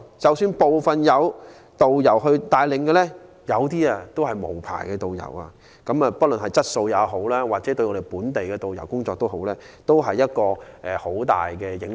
即使部分旅行團有導遊帶領，有些卻是無牌導遊，不論對旅行團的質素或本地導遊的工作都有很大的影響。